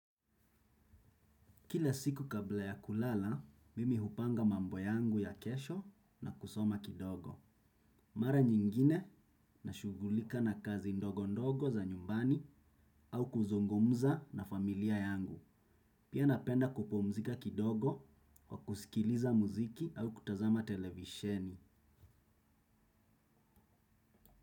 Kila siku kabla ya kulala, mimi hupanga mambo yangu ya kesho na kusoma kidogo. Mara nyingine nashugulika na kazi ndogo ndogo za nyumbani au kuzungumza na familia yangu. Pia napenda kupumzika kidogo kwa kusikiliza muziki au kutazama televisheni.